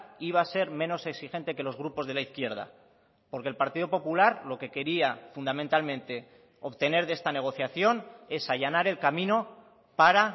iba a ser menos exigente que los grupos de la izquierda porque el partido popular lo que quería fundamentalmente obtener de esta negociación es allanar el camino para